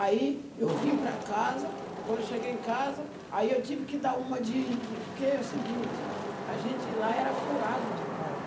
Aí eu vim para casa, quando cheguei em casa, aí eu tive que dar uma de... Porque é o seguinte, a gente lá era curado de cobra.